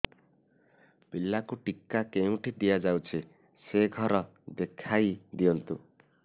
ପିଲାକୁ ଟିକା କେଉଁଠି ଦିଆଯାଉଛି ସେ ଘର ଦେଖାଇ ଦିଅନ୍ତୁ